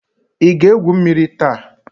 Ị ga-egwu mmiri taa?